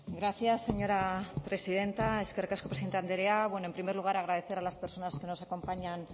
gracias señora presidenta eskerrik asko presidente andrea bueno en primer lugar agradecer a las personas que nos acompañan